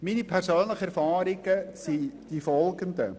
Meine persönlichen Erfahrungen sind folgende: